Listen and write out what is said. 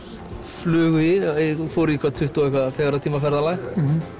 flugu yfir fóru í hvað tuttugu og fjögurra tíma ferðalag